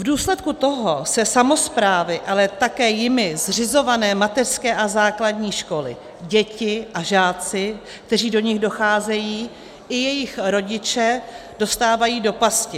V důsledku toho se samosprávy, ale také jimi zřizované mateřské a základní školy, děti a žáci, kteří do nich docházejí, i jejich rodiče dostávají do pasti.